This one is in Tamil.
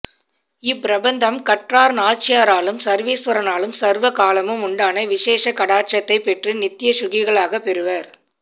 இப்பிரபந்தம் கற்றார் நாய்ச்சியாராலும் சர்வேஸ்வரனாலும் சர்வ காலமும் உண்டான விசேஷ கடாக்ஷத்தைப் பெற்று நித்ய ஸூகிகளாகப் பெறுவர்